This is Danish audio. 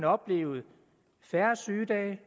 oplevet færre sygedage